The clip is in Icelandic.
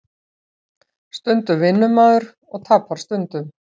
Stundum vinnur maður og tapar stundum